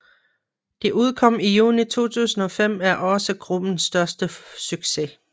Det udkom i juni 2005 er også gruppens største succes